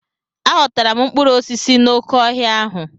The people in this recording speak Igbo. A ghọtara m mkpụrụ osisi n'oké ọhịa ahụ.